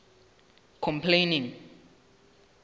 complaining